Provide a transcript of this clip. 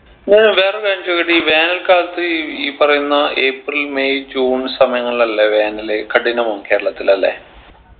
ഞാൻ വേറെ ഒരു കാര്യം ചോദിക്കട്ടെ ഈ വേനൽ കാലത്ത് ഈ പറയുന്ന ഏപ്രിൽ മെയ് ജൂൺ സമയങ്ങളിൽ അല്ലെ വേനൽ കഠിനവും കേരളത്തിൽ അല്ലെ